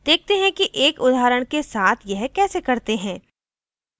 देखते हैं कि एक उदाहरण के साथ यह कैसे करते हैं